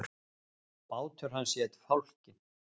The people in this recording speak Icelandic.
Bátur hans hét Fálkinn.